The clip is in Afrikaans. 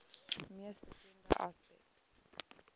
mees bekende aspek